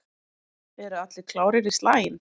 Eru allir klárir í slaginn?